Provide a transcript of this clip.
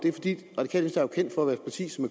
sosu